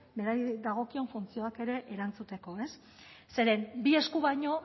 berari dagozkion funtzioei ere erantzuteko zeren bi eskuk baino